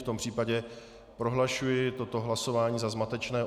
V tom případě prohlašuji toto hlasování za zmatečné.